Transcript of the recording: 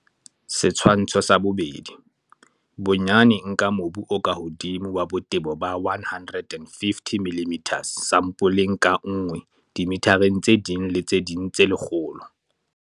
Setshwantsho 2. Bonyane nka mobu o ka hodimo wa botebo ba 150 mm sampoleng ka nngwe dimithareng tse ding le tse ding tse lekgolo.